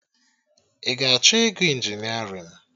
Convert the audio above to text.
Ị ga-achọ ịgụ injinerịn?